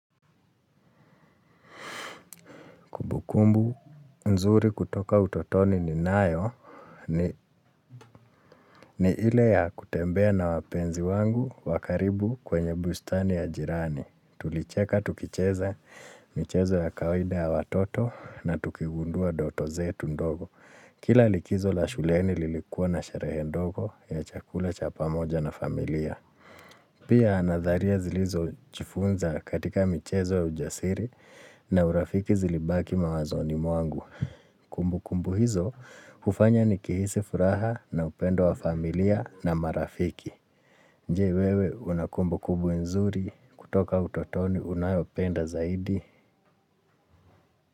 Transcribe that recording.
Kumbu nzuri kutoka utotoni ninayo ni ile ya kutembea na wapenzi wangu wa karibu kwenye bustani ya jirani. Tulicheka tukicheza michezo ya kawaida ya watoto na tukigundua ndoto zetu ndogo. Kila likizo la shuleni lilikuwa na sherehe ndogo ya chakula cha pamoja na familia. Pia nadharia zilizo jifunza katika michezo ya ujasiri na urafiki zilibaki mawazoni mwangu. Kumbukumbu hizo hufanya nijihisi furaha na upendo wa familia na marafiki. Je wewe unakumbukumbu nzuri kutoka utotoni unayopenda zaidi.